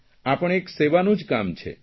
આ પણ એક સેવાનું જ કામ છે